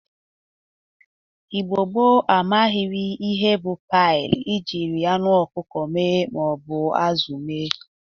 Igbo gboo amaghịrị ihe bụ paị e jiri anụ ọkụkụ ma ọ bụ azụ mee.